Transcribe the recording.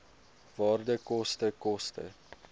waarde koste koste